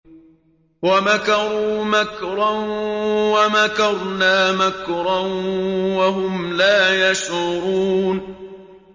وَمَكَرُوا مَكْرًا وَمَكَرْنَا مَكْرًا وَهُمْ لَا يَشْعُرُونَ